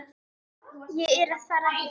Ég er að fara heim.